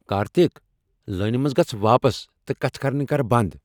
کارتِک! لٲنہ منٛز گژھ واپس تہٕ کتھہٕ کرٕنہِ كر بنٛد ۔